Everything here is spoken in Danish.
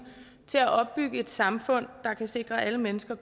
til at opbygge et samfund der kan sikre alle mennesker